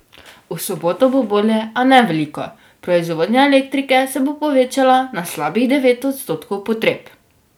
V soboto bo bolje, a ne veliko, proizvodnja elektrike se bo povečala na slabih devet odstotkov potreb.